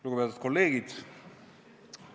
Lugupeetud kolleegid!